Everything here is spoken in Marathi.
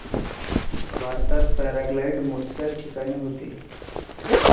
भारतात पॅराग्लायडिंग मोजक्याच ठिकाणी होते.